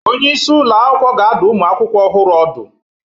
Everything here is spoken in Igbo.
Onye isi ụlọ akwụkwọ ga-adụ ụmụ akwụkwọ ọhụrụ ọdụ